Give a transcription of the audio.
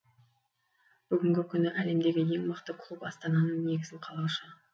бүгінгі күні әлемдегі ең мықты клуб астананың негізін қалаушы